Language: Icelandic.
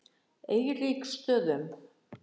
Eiríksstöðum